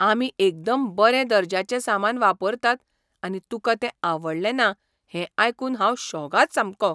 आमी एकदम बरें दर्ज्याचें सामान वापरतात आनी तुका तें आवडलें ना हें आयकून हांव शॉकाद सामको.